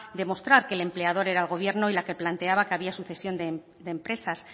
demostrar que el empleador era el gobierno y la que planteaba que había sucesión de empresas